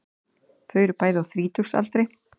Þau eru bæði á þrítugsaldri